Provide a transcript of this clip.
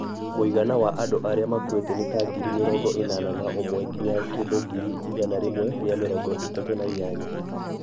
Mũigana wa andũ arĩa maakuite nĩ ta ngiri mĩrongo ĩnana na umwe nginya kĩndũ ngiri igana rĩmwe ria mĩrongo ĩtatũ na inyanya.